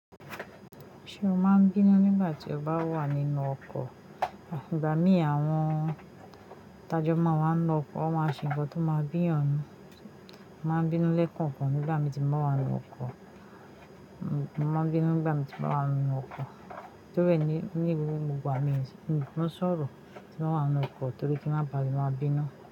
Ṣé o máa ń bínú nígbà tí o bá wà nínú ọkọ̀? Ígbà mí àwọn tajọ́ má wa ninu ọkọ̀, wọ́n máa ṣe ǹkan tó máa ń bí eyan ninu. Mo máa ń bínú lẹ́kànkan nígbà mi ti mo bá wà nínú ọkọ̀. Mo máa ń bínú nígbà mi ti mo bá wà nínú ọkọ̀ torí é ní gbogbo ìgbà mí ń sọ̀rọ̀ tí mo ba wà nínú ọkọ̀ torí kí máà bá le moti ti máa bínú.